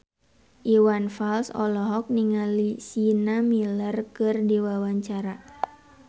Iwan Fals olohok ningali Sienna Miller keur diwawancara